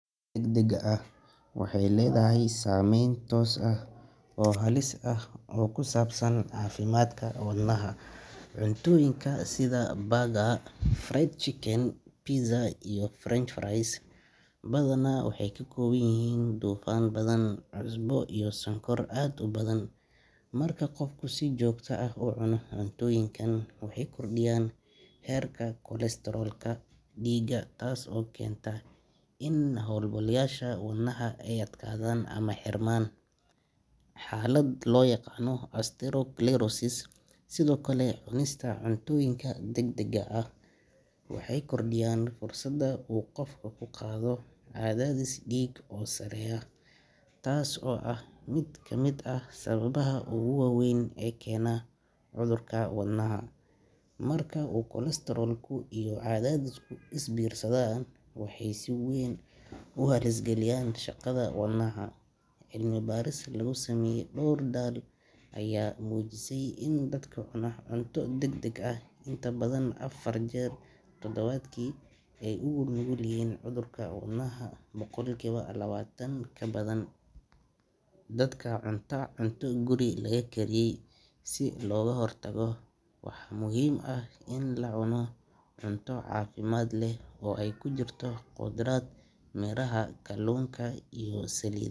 Cuntada degdegga ah waxay leedahay saameyn toos ah oo halis ah oo ku saabsan caafimaadka wadnaha. Cuntooyinkaas sida burger, fried chicken, pizza, iyo french fries badanaa waxay ka kooban yihiin dufan badan, cusbo iyo sonkor aad u badan. Marka qofku si joogto ah u cuno cuntooyinkan, waxay kordhiyaan heerka kolestaroolka dhiigga taas oo keenta in halbowlayaasha wadnaha ay adkaadaan ama xirmaan, xaalad loo yaqaan atherosclerosis. Sidoo kale, cunista cuntooyinka degdegga ah waxay kordhiyaan fursadda uu qofku ku qaado cadaadis dhiig oo sarreeya, taas oo ah mid kamid ah sababaha ugu waaweyn ee keena cudurka wadnaha. Marka uu kolestaroolku iyo cadaadisku is biirsadaan, waxay si weyn u halis geliyaan shaqada wadnaha. Cilmi baaris lagu sameeyay dhowr dal ayaa muujisay in dadka cuna cunto degdeg ah in ka badan afar jeer toddobaadkii ay u nugul yihiin cudurka wadnaha boqolkiiba labaatan ka badan dadka cunta cunto guri lagu kariyey. Si looga hortago, waxaa muhiim ah in la cuno cunto caafimaad leh oo ay ku jirto khudrad, miraha, kalluunka, iyo sali.